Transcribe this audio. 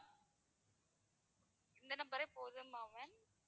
இந்த number ஏ போதுமா ma'am